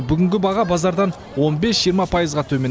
бүгінгі баға базардан он бес жиырма пайызға төмен